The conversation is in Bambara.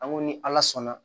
An ko ni ala sɔnna